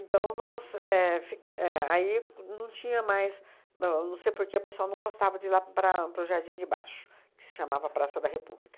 Então nós éh fica éh aí não tinha mais no não sei porque o pessoal não gostava de ir lá para a para o Jardim de Baixo, que se chamava Praça da República.